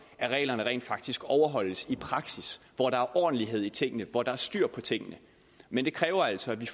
at reglerne rent faktisk overholdes i praksis hvor der er ordentlighed i tingene og hvor der er styr på tingene men det kræver altså at vi